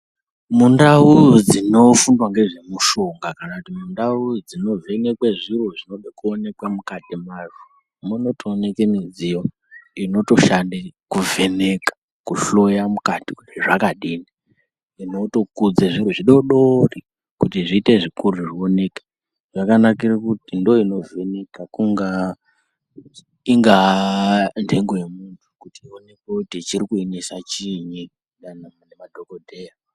Mundau dzinofundwa ngezvemishonga kana kuti mundau dzinovhenkwe zviro zvinode kuonekwa mukati mazvo munotooneke midziyo inotoshande kuvheneka kuhloya mukati kuti zvakadini inotokudze zviro zvidodori ,kuti zviite zvikuru zvioneke zvakanakire kuti ndiyo inovheneka kungaa, ingaa nhengo yemuntu kuti ionekwe kuti chiri kuinesa chiinyi dani nemadhokodheya.